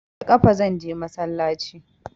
Da ƙafa zanje masallaci